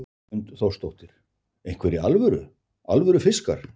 Hrund Þórsdóttir: Einhverjir alvöru, alvöru fiskar?